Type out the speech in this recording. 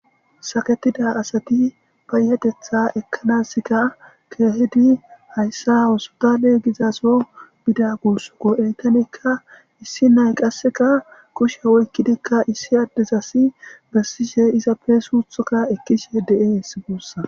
saketida asati payatetha ekkanaska keehedi hayssa osotalee gizaso bida gursoko eytanekka issi nay qasseka kushe woykkidikka issi addez asi bessishe izappeesuuthoka ekkishe de7e hessi guussa